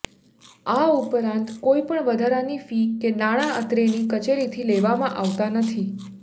આ ઉપરાંત કોઈ પણ વધારાની ફી કે નાણા અત્રેની કચેરીથી લેવામાં આવતા નથી